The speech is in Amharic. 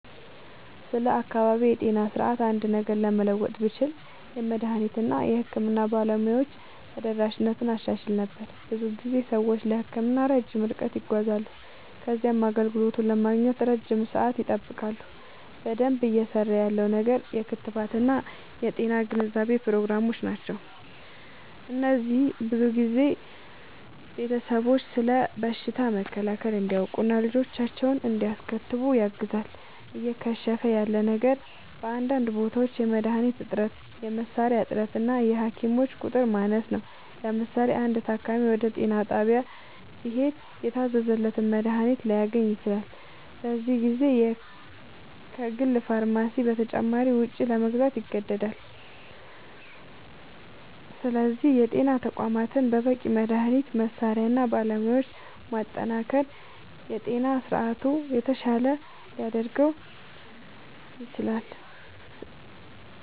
ስለ አካባቢያዊ የጤና ስርዓት አንድ ነገር ለመለወጥ ብችል፣ የመድኃኒት እና የሕክምና ባለሙያዎች ተደራሽነትን አሻሽል ነበር። ብዙ ጊዜ ሰዎች ለሕክምና ረጅም ርቀት ይጓዛሉ ከዚያም አገልግሎቱን ለማግኘት ለረጅም ሰዓት ይጠብቃሉ። በደንብ እየሠራ ያለው ነገር የክትባት እና የጤና ግንዛቤ ፕሮግራሞች ናቸው። እነዚህ ብዙ ቤተሰቦች ስለ በሽታ መከላከል እንዲያውቁ እና ልጆቻቸውን እንዲያስከትቡ ያግዛሉ። እየከሸፈ ያለ ነገር በአንዳንድ ቦታዎች የመድኃኒት እጥረት፣ የመሣሪያ እጥረት እና የሐኪሞች ቁጥር ማነስ ነው። ለምሳሌ፣ አንድ ታካሚ ወደ ጤና ጣቢያ ቢሄድ የታዘዘለትን መድኃኒት ላያገኝ ይችላል፤ በዚህ ጊዜ ከግል ፋርማሲ በተጨማሪ ወጪ ለመግዛት ይገደዳል። ስለዚህ የጤና ተቋማትን በበቂ መድኃኒት፣ መሣሪያ እና ባለሙያ ማጠናከር የጤና ስርዓቱን የተሻለ ሊያደርገው ይችላል።